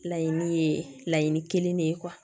Laɲini ye laɲini kelen de ye